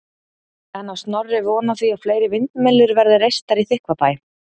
En á Snorri von á því að fleiri vindmyllur verði reistar í Þykkvabæ?